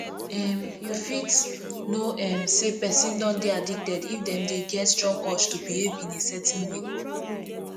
um you fit know um sey person don dey addicted if dem dey get strong urge to behave in certain way